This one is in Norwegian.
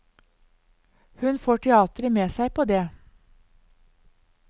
Hun får teateret med seg på det.